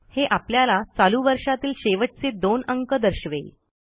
हे आपल्याला चालू वर्षातील शेवटचे दोन अंक दर्शवेल